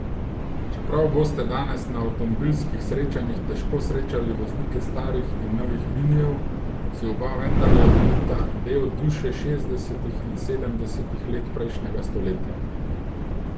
Čeprav boste danes na avtomobilskih srečanjih težko srečali voznike starih in novih minijev, si oba vendarle delita del duše šestdesetih in sedemdesetih let prejšnjega stoletja.